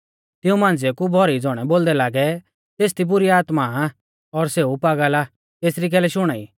तिऊं मांझ़िऊ कु भौरी ज़ौणै बोलदै लागै तेसदी बुरी आत्मा आ और सेऊ पागल आ तेसरी कैलै शुणाई